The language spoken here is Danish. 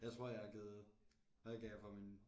Jeg tror jeg har givet hvad gav jeg for min